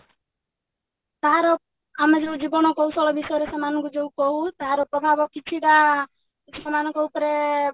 ତାହାର ଆମେ ଯଉ ଜୀବନ କୌଶଳ ବିଷୟରେ ସେମାନଙ୍କୁ କହୁ ତାର ପ୍ରଭାବ କିଛିଟା ସେମାନଙ୍କ ଉପରେ